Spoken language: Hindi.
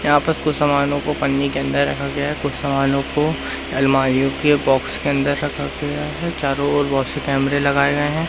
यहां पर कुछ सामानों को पन्नी के अंदर रखा गया कुछ समानों को अलमारीओ के बॉक्स के अंदर रखा गया है चारों ओर बहोत से कैमरे लगाए गए हैं।